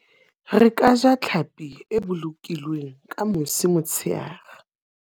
Re ka ja tlhapi e bolokilweng ka mosi motsheare.